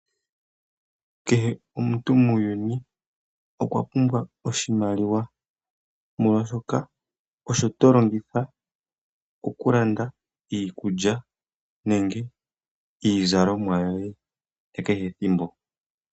Kehe omuntu muuyuni okwa pumbwa oshimaliwa, molwashoka osho to longitha okulanda iikulya nenge iizalomwa yoye ya kehe ethimbo.